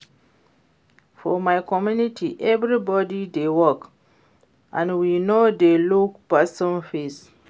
For my community everybody dey work and we no dey look person face